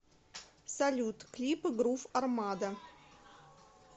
салют клипы грув армада